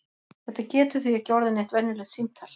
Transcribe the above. Þetta getur því ekki orðið neitt venjulegt símtal!